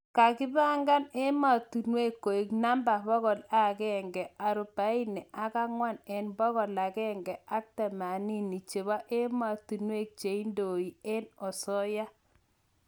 kagi pangan emanotong koeg namba bokol agenge ak rubaini ak angwwan en bokol agenge ak tamanini cheba ematunwek cheindoe en asooya